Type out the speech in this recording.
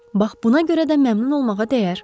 Bax buna görə də məmnun olmağa dəyər.